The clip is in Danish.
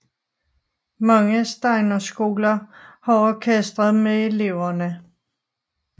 Mange Steinerskoler har orkestre med eleverne